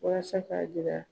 Walasa k'a jira